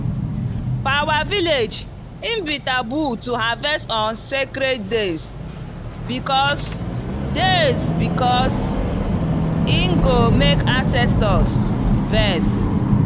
for our village e be taboo to harvest on sacred days because days because e go make ancestors vex.